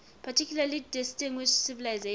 particularly distinguished civilization